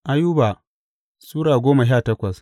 Ayuba Sura goma sha takwas